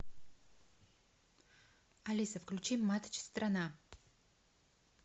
алиса включи матч страна